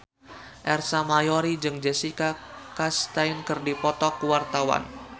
Ersa Mayori jeung Jessica Chastain keur dipoto ku wartawan